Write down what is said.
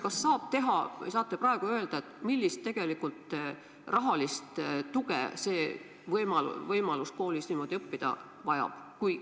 Kas te saate praegu öelda, millist rahalist tuge tegelikult selleks vaja läheb, et koolis niimoodi õppida?